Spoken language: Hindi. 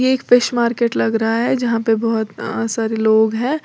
ये एक फिश मार्केट लग रहा है जहां पर बहोत अ सारे लोग हैं।